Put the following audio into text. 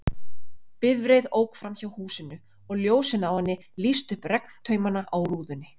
Bifreið ók framhjá húsinu, og ljósin á henni lýstu upp regntaumana á rúðunni.